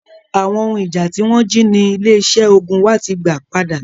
Awon ohun ija ti won ji ni ile ise ogun wa ti gba pada.